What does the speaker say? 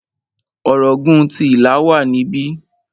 Ọ̀ràngún ti Ìlá wà níbí.